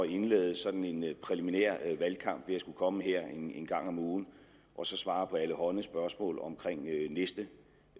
indlede sådan en præliminær valgkamp ved at skulle komme her en gang om ugen og svare på allehånde spørgsmål om næste